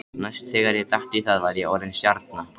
Næst þegar ég datt í það var ég orðinn stjarna.